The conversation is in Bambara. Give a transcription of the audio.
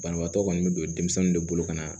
Banabaatɔ kɔni bɛ don denmisɛnninw de bolo ka na